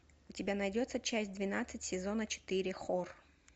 у тебя найдется часть двенадцать сезона четыре хор